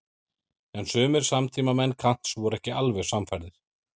En sumir samtímamenn Kants voru ekki alveg sannfærðir.